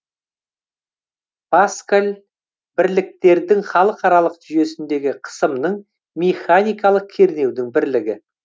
паскаль бірліктердің халықаралық жүйесіндегі қысымның механикалық кернеудің бірлігі